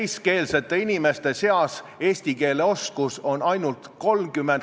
" 14. septembril on Sven Sester kirjutanud: "Eesti keele ja kultuuri säilimine on meie kõige tähtsam ülesanne.